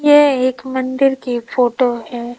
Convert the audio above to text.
यह एक मंदिर की फोटो है।